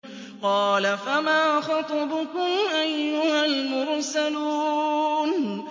قَالَ فَمَا خَطْبُكُمْ أَيُّهَا الْمُرْسَلُونَ